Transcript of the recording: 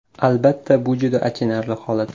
Albatta bu juda achinarli holat.